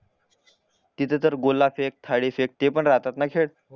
तिथे तर गोळा फेक थालीफेक ते पण राहतातना ना खेळ